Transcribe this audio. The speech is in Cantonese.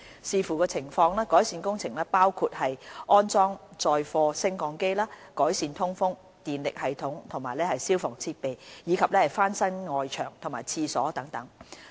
視乎情況，改善工程包括安裝載貨升降機、改善通風、電力系統和消防設備，以及翻新外牆和廁所等。